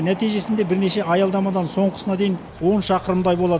нәтижесінде бірнеше аялдамадан соңғысына дейін он шақырымдай болады